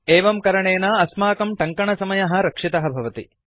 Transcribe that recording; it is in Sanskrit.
एवं करणेन अस्माकं टङ्कनसमयः रक्षितः भवति